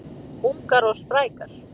Ungar og sprækar